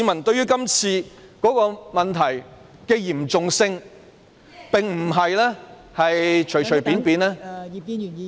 對於今次問題的嚴重性，市民並不是隨隨便便......